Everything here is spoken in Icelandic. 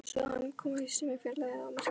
Svo kom haustið með fjarlægðirnar og myrkrið.